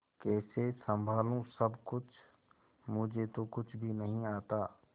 कैसे संभालू सब कुछ मुझे तो कुछ भी नहीं आता